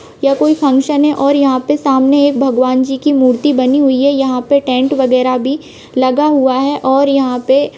यह कोई फंक्शन है और यहाँ पे सामने एक भगवान जी की मूर्ति बानी हुई है यह टैंट वगेरह भी लग हुआ है। और यहाँ पे--